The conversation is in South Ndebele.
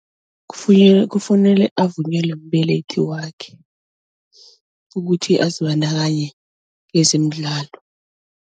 kufunele avunyelwe mbelethi wakhe ukuthi azibandakanye kezemidlalo.